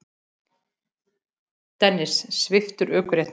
Dennis sviptur ökuréttindum